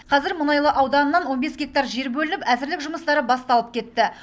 қазір мұнайлы ауданынан он бес гектар жер бөлініп әзірлік жұмыстары басталып кетті